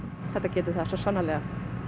þetta getur það svo sannarlega